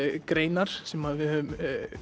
greinar sem að við höfum